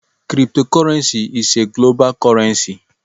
Cryptocurrency is a global currency.